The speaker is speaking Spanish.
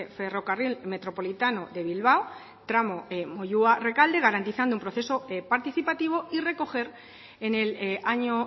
ferrocarril metropolitano de bilbao tramo moyua rekalde garantizando un proceso participativo y recoger en el año